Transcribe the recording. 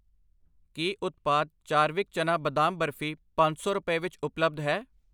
ਕੀ ਉਤਪਾਦ ਚਾਰਵਿਕ ਚਨਾ ਬਦਾਮ ਬਰਫੀ ਪੰਜ ਸੌ ਰੁਪਏ ਵਿੱਚ ਉਪਲੱਬਧ ਹੈ?